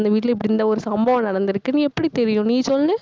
அந்த வீட்டுல, இப்படி இந்த ஒரு சம்பவம் நடந்திருக்குன்னு எப்படி தெரியும் நீ சொல்லு.